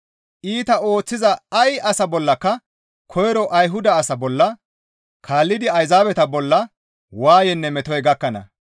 Iita ooththiza ay asa bollaka koyro Ayhuda asa bolla, kaallidi Ayzaabeta bolla waayeynne metoy gakkana.